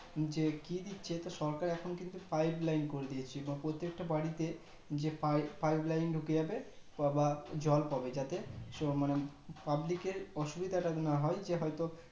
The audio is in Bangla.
যে কি দিচ্ছে সরকার এখন কিন্তু pipe line করে দিয়েছে তা প্রত্যেকটা বাড়িতে যে pipe line ঢুকে যাবে জল পাবে যাতে public এর অসুবিধে তা না হয় যে হয়তো